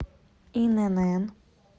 инн